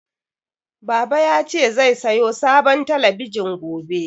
Baba ya ce zai sayo sabon talabijin gobe